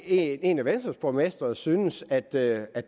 en af venstres borgmestre synes at det er